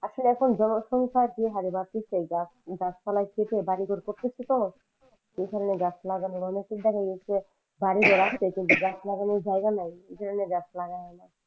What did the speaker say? আসলে এখন জনসংখ্যা যে হারে বাড়তেছে গাছপালা গাছপালা কেটে বাড়ি ঘর করতেছে তো সেখানে বাড়ি ঘর আছে কিন্তু গাছ লাগানোর জায়গা নাই। যে কারণে গাছ লাগাই না